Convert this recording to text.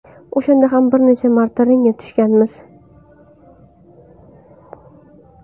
O‘shanda ham bir necha marta ringga tushganmiz.